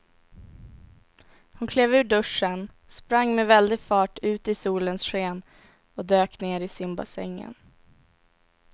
Hon klev ur duschen, sprang med väldig fart ut i solens sken och dök ner i simbassängen.